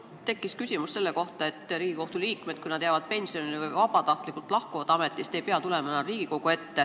Mul tekkis küsimus selle kohta, et kui Riigikohtu liikmed jäävad pensionile või lahkuvad vabatahtlikult ametist, siis nad ei pea tulema enam Riigikogu ette.